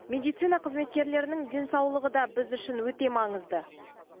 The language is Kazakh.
медицина қызметкерлерінің денсаулығы да біз үшін өте маңызды